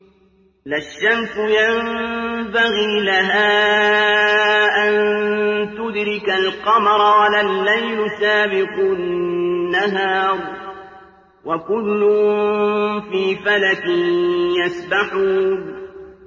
لَا الشَّمْسُ يَنبَغِي لَهَا أَن تُدْرِكَ الْقَمَرَ وَلَا اللَّيْلُ سَابِقُ النَّهَارِ ۚ وَكُلٌّ فِي فَلَكٍ يَسْبَحُونَ